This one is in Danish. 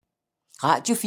Radio 4